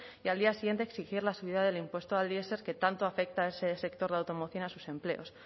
y al día siguiente exigir la subida del impuesto al diesel que tanto afecta a ese sector de automoción y a sus empleos